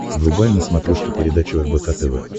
врубай на смотрешке передачу рбк тв